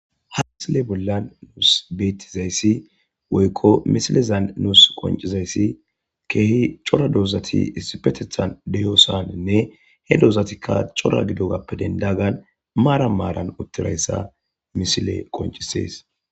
a misile bollan nuus beettizayssi woykko misilezan nuus qoncizayssi keehi cora doozati isipetethan deyoosaninne he doozatikka cora gidogappe dendagan maara maaran uttirayssa misile qoncisees